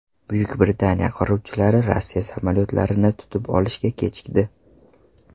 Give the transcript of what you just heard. Buyuk Britaniya qiruvchilari Rossiya samolyotlarini tutib olishga kechikdi .